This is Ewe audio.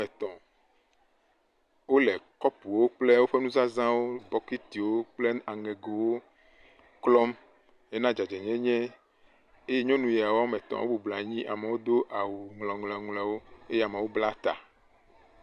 Ame etɔ̃ wole kɔpuwo kple woƒe nuzazawo bɔkitiwo kple aŋegowo klɔm hena dzadzɛnyenye eye nyɔnu siawo woame etɔ wobɔbɔnɔ anyi amewo do awu ŋlɔŋlɔŋlɔewo eye amewo bla ta.